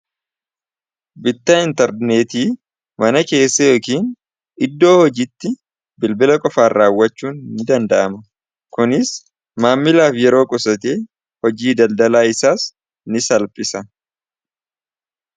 Bittaa interneetii mana keessa yookiin iddoo hojiitti bilbila qofaan raawwachuun ni danda'ama. Kunis maamilaaf yeroo qusate hojii daldalaa isaas ni salphisa.